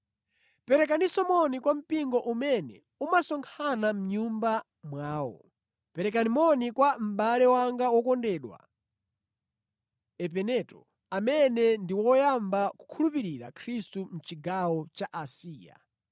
Perekaninso moni kwa mpingo umene umasonkhana mʼnyumba mwawo. Perekani moni kwa mʼbale wanga wokondedwa Epeneto, amene ndi woyamba kukhulupirira Khristu mʼchigawo cha Asiya.